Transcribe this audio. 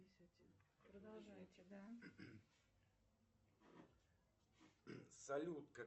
салют какая площадь у города бородино